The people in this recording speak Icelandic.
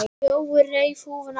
Jói reif húfuna af sér.